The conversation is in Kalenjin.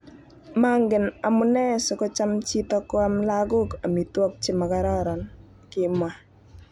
"Mangen amu nee sikocham chito koam lagok amitwogik chemakororon",kimwa